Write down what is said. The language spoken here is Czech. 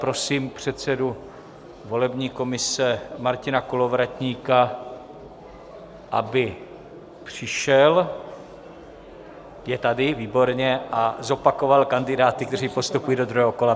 Prosím předsedu volební komise Martina Kolovratníka, aby přišel - je tady, výborně - a zopakoval kandidáty, kteří postupují do druhého kola.